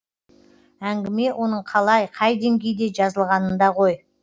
әңгіме оның қалай қай деңгейде жазылғанында ғой